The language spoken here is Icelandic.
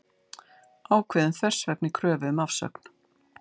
Ákveðin þversögn í kröfu um afsögn